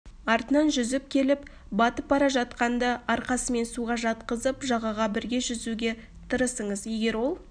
артынан жүзіп келіп батып бара жатқанды арқасымен суға жатқызып жағаға бірге жүзуге тырысыңыз егер ол